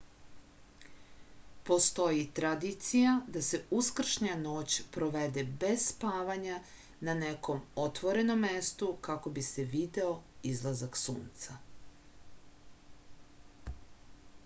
postoji tradicija da se uskršnja noć provede bez spavanja na nekom otvorenom mestu kako bi se video izlazak sunca